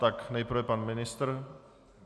Tak nejprve pan ministr?